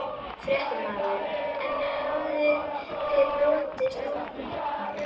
Fréttamaður: En hafa þér borist hótanir?